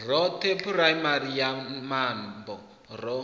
roṱhe phuraimari ya mambo ro